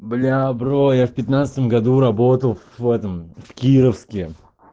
бля бро я в пятнадцатом году работал в этом в кировске